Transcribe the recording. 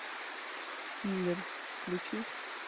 киллер включи